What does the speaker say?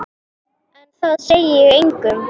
En það segi ég engum.